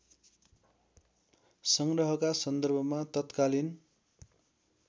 संग्रहका सन्दर्भमा तत्कालीन